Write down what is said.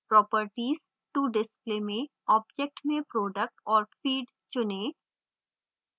properties to display में object में product और feed चुनें